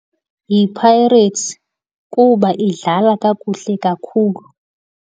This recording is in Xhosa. YiPirates kuba idlala kakuhle kakhulu.